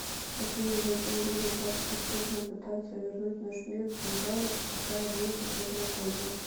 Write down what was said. афина зачем люди так усердно пытаются вернуть в наш мир динозавров и какая будет от этого польза